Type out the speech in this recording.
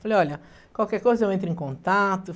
Falei, olha, qualquer coisa eu entro em contato.